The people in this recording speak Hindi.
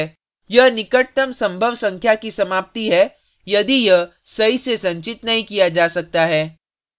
यह निकटतम संभव संख्या की समाप्ति है यदि यह सही से संचित नहीं किया जा सकता है